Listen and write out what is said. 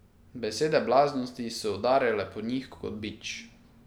Besede blaznosti so udarjale po njih kot bič.